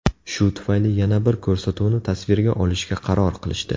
Shu tufayli yana bir ko‘rsatuvni tasvirga olishga qaror qilishdi.